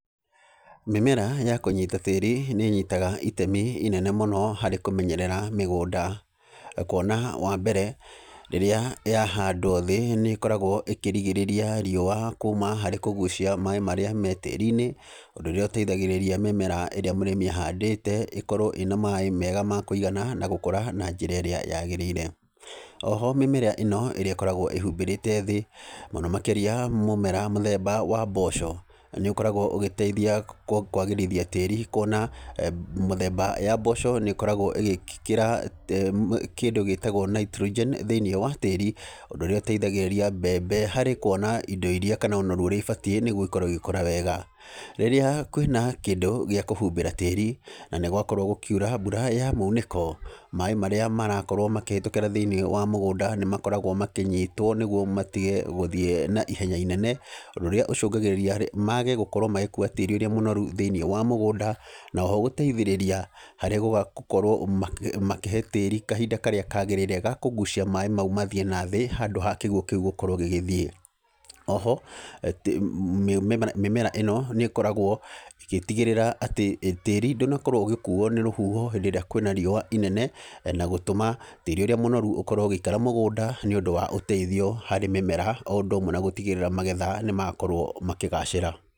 Mĩmera ya kũnyita tĩri nĩnyitaga itemi inene mũno harĩ kũmenyerera mĩgũnda kuona wambere rĩrĩa yahandwo thĩ nĩkoragwo ĩkĩrigĩrĩria riũa kuma harĩ kũgucia maĩ marĩa me tĩri-inĩ, ũndũ ũrĩa ũteithagĩrĩria mĩmera ĩrĩa mũrĩmi ahandĩte ĩkorwo ĩna maĩ mega ma kũigana na gũkũra na nj'ra ĩrĩa yagĩrĩire, oho mĩmera ĩno ĩrĩa ĩkoragwo ĩhumbĩrĩte thĩ mũno makĩria mũmera mũthemba wa mboco, nĩũkoragwo ũgĩteithia kũ kwagĩrithia tĩri kuona mĩthemba ya mboco nĩkoragwo ĩgĩkĩra kĩndĩ gĩtagwo nitrogen thĩ-inĩ wa tĩri, ũndũ ũrĩa ũteithagĩrĩria mbembe harĩ kuona indo iria kanona ũrĩa ibatiĩ nĩguo ikorwo igĩkũra wega, rĩrĩa kwĩna kĩndũ gĩa kũhumbĩra tĩri, na nĩgwakorwo gũkiura mbura ya munĩko, maĩ marĩa marakorwo makĩhĩtũkĩra thĩ-inĩ wa mũgũnda nĩmakoragwo makĩnyitwo nĩguo matige gũthiĩ na ihenya inene, ũndũ ũrĩa ũcũngagĩrĩria mage gũkorwo magĩkua tĩri ũrĩa mũnoru thĩ-inĩ wa mũgũnda, na oho gũteithĩrĩria harĩ gũgakorwo magĩ makĩhe tĩri kahinda karĩa kagĩrĩire ga kũgucia maĩ mau mathiĩ nathĩ handũ ha kĩguo kĩu gũkorwo gĩgĩthiĩ, oho, atĩ mĩmera ĩno nĩkoragwo ĩgĩtigĩrĩra atĩ, tĩri ndũnakorwo ũgĩkuo nĩ rũhuho hĩndĩ ĩrĩa kwĩna riũa inene, na gũtũma tĩri ũrĩa mũnoru ũkorwo ũgĩikara mũgũnda nĩũndũ wa ũteithio harĩ mĩmera o ũndũ ũmwe na gũtigĩrĩra magetha nĩmakorwo makĩgacĩra.